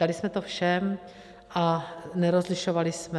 Dali jsme to všem a nerozlišovali jsme.